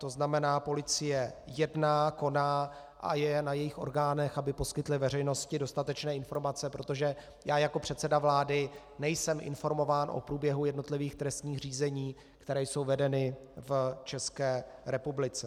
To znamená, policie jedná, koná a je na jejích orgánech, aby poskytly veřejnosti dostatečné informace, protože já jako předseda vlády nejsem informován o průběhu jednotlivých trestních řízení, která jsou vedena v České republice.